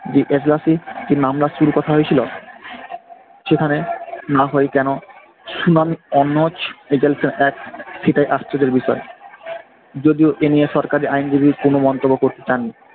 যে এজলাসে যে নাম কথা হয়েছিল সেখানের না হয়ে কেন সুনাম এজেলেস এর এক সেটাই আশ্চর্যের বিষয়। যদিও এই নিয়ে সরকারি আইনজীবীর কোনো মন্তব্য করতে চাননি।